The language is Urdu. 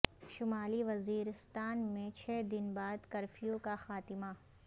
شمالی وزیرستان میں چھ دن بعد کرفیو کا خاتمہ